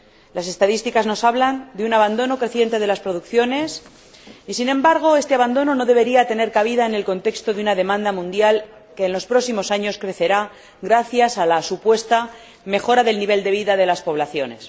Las estadísticas nos hablan de un abandono creciente de las producciones y, sin embargo, este abandono no debería tener cabida en el contexto de una demanda mundial que en los próximos años crecerá gracias a la supuesta mejora del nivel de vida de las poblaciones.